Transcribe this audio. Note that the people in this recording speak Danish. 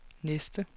næste